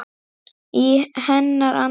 Í hennar anda.